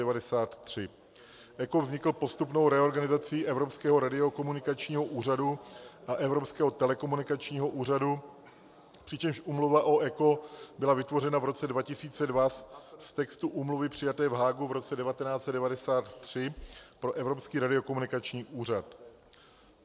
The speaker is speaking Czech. ECO vznikl postupnou reorganizací Evropského radiokomunikačního úřadu a Evropského telekomunikačního úřadu, přičemž úmluva o ECO byla vytvořena v roce 2002 z textu úmluvy přijaté v Haagu v roce 1993 pro Evropský radiokomunikační úřad.